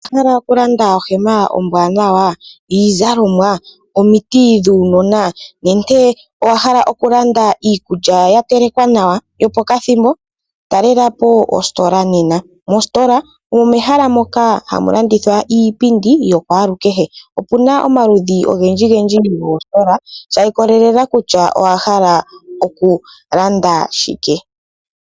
Owa pumbwa okulanda ohema ombwaanawa, iizalomwa, omiti dhuunona nenge owa hala okulanda iikulya ya telekwa nawa yopakathimbo? Talela po ositola nena. Mositola omo mehala moka hamu landithwa iipindi yakwalukehe. Opu na omaludhi ogendji gendji goositola sha ikolelela kutya owa hala okulanda shike.